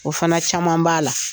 O fana caman b'a la